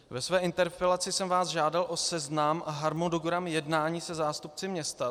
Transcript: Ve své interpelaci jsem vás žádal o seznam a harmonogram jednání se zástupci města.